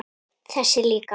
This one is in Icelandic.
Þessi líka